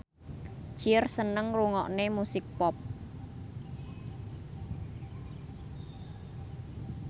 Cher seneng ngrungokne musik pop